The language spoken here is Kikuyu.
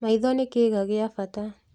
Maitho nĩ kĩĩga gĩa bata